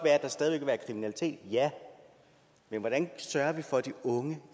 at der stadig vil være kriminalitet ja men hvordan sørger vi for at de unge